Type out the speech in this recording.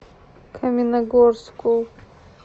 каменногорску